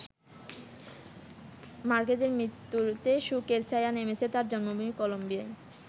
মার্কেজের মৃত্যুতে শোকের ছায়া নেমেছে তাঁর জন্মভূমি কলম্বিয়ায়।